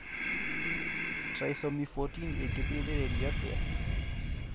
Trisomy 14 ĩngĩteithĩrĩrio atĩa?